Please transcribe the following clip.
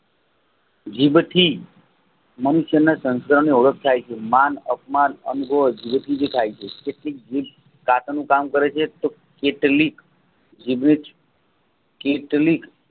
જીભથી મનુષ્યને તંત્રની ઓળખાય છે મન અને અપમાન એંજો થાય છે જીભ દાંતનું કામ કરે છે જે તેની જીભ જ કેટલીક